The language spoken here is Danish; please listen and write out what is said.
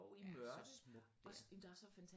Er så smukt dér